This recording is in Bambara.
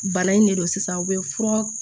Bana in ne don sisan u bɛ fura